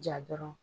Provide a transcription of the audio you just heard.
Ja dɔrɔn